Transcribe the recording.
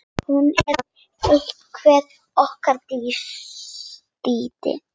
Hún er eftir okkur Dídí.